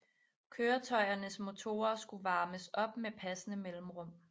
Køretøjernes motorer skulle varmes op med passende mellemrum